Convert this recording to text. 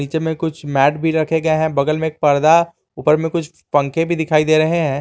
नीचे में कुछ मैंट भी रखे गए हैं बगल में एक पर्दा ऊपर में कुछ पंखे भी लगे हुए हैं।